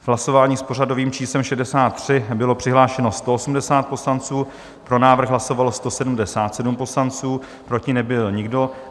V hlasování s pořadovým číslem 63 bylo přihlášeno 180 poslanců, pro návrh hlasovalo 177 poslanců, proti nebyl nikdo.